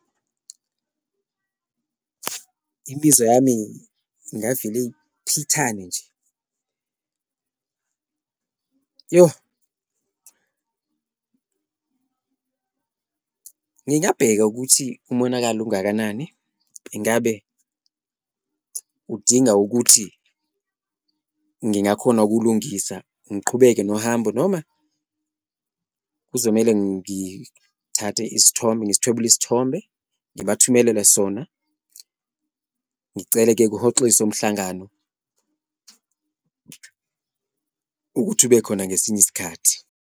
Imizwa yami ingavele iphithane nje , yoh ngingabheka ukuthi umonakalo ungakanani, ingabe udinga ukuthi ngingakhona ukuwulungisa ngiqhubeke nohambo, noma kuzomele ngithathe isithombe ngisithwebula isithombe ngibathumelela sona. Ngicele-ke kuhoxiswe umhlangano ukuthi ube khona ngesinye isikhathi.